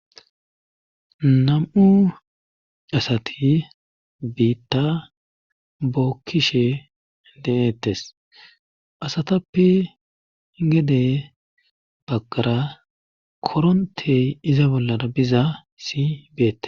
Nam'u asati biitta bookkishe de'ettes asatappe gede baggara korontey iza bollara bizasi beette.